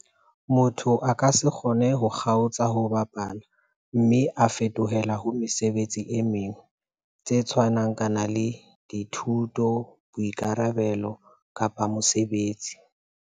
Motho a ka se kgone ho kgaotsa ho bapala mme a fetohela ho mesebetsi e meng tse tshwanang kanang le dithuto, boikarabelo kapa mosebetsi.